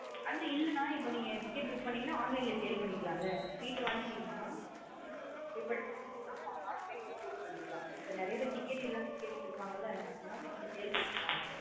அன்னா இல்லனா இப்ப நீங்க ticket book பண்ணிக்கங் நா online லா sale பண்ணிகளா. Seat வந்கிடீங்கான இப்போ ஆமா online லா sale பண்ணிக்கலாம்ளா நறைய பேர் ticket இல்லமா கேட்டுட்டு இருப்பங்காளஅந்த மாத்ரி sale பண்ணிக்கலாம்.